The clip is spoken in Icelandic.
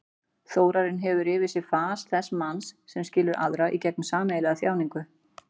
Þórarinn hefur yfir sér fas þess manns sem skilur aðra í gegnum sameiginlega þjáningu.